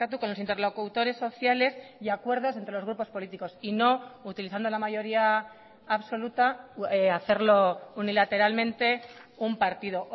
con los interlocutores sociales y acuerdos entre los grupos políticos y no utilizando la mayoría absoluta hacerlo unilateralmente un partido